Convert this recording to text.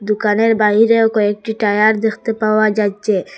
দোকানের বাহিরেও কয়েকটি টায়ার দেখতে পাওয়া যাচ্ছে।